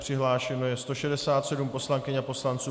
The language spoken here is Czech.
Přihlášeno je 167 poslankyň a poslanců.